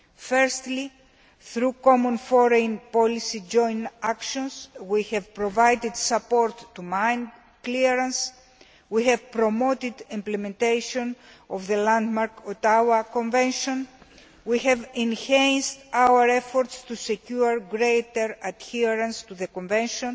Firstly, through common foreign policy joint actions we have provided support to mine clearance, we have promoted implementation of the landmark Ottawa Convention, we have enhanced our efforts to secure greater adherence to the Convention,